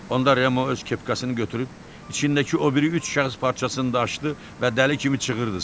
Onda Remo öz kepkasını götürüb içindəki o biri üç kağız parçasını da açdı və dəli kimi çığırdı.